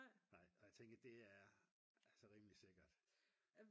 nej og jeg tænker det er altså rimelig sikkert